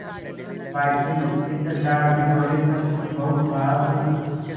बाकी चित्रकार भी बोले सचमुच बहुत बहादुर